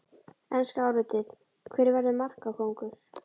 Enska álitið: Hver verður markakóngur?